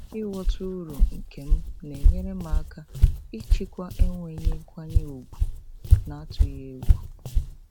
ịghọta uru nke m na-enyere m aka ịchịkwa enweghị nkwanye ùgwù n'atụghị egwu.